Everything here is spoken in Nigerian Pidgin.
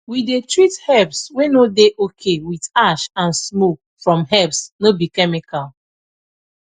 we dey treat herbs wey no dey okay with ash and smoke from herbs no be chemical